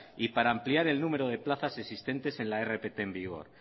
y para ampliar el número de plazas existentes en la rpt en vigor